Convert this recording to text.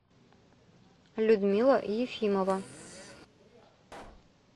людмила ефимова